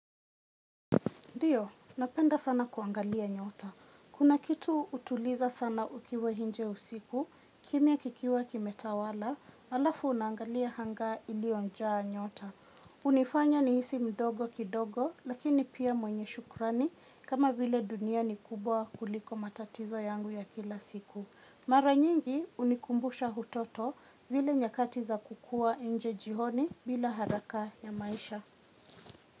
Ndiyo, napenda sana kuangalia nyota. Kuna kitu utuliza sana ukiwa nje usiku, kimya kikiwa kimetawala, alafu unaangalia anga iliojaa nyota. Hunifanya nihisi mdogo kidogo, lakini pia mwenye shukrani, kama vile dunia ni kubwa kuliko matatizo yangu ya kila siku. Mara nyingi hunikumbusha utoto zile nyakati za kukua inje jioni bila haraka ya maisha.